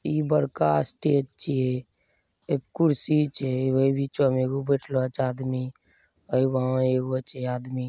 ई बड़का स्टेज छिये ए कुर्सी छै हे ओय बिचा में एगो बैठलो छै आदमी ए वहां एगो छै आदमी।